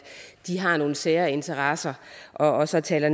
de har nogle særinteresser og så taler